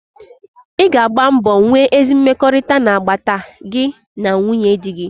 Ị ga agba mbọ nwee ezi mmekọrịta n'agbata gị na nwunye dị gị.